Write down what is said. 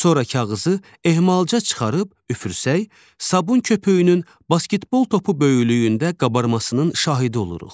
Sonra kağızı ehmalca çıxarıb üfürsək, sabun köpüyünün basketbol topu böyüklüyündə qabarmasının şahidi oluruq.